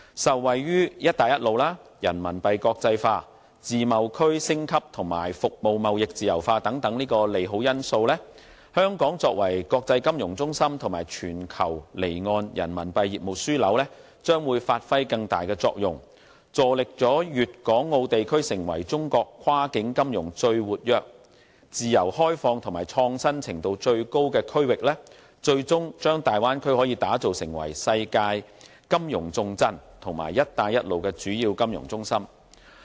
受惠於"一帶一路"、人民幣國際化、自貿區升級及服務貿易自由化等利好因素，香港作為國際金融中心和全球離岸人民幣業務樞紐，將會發揮更大作用，助力粵港澳地區成為中國跨境金融最活躍、自由開放和創新程度最高的區域，最終把大灣區打造成為世界金融重鎮和"一帶一路"的主要金融中心。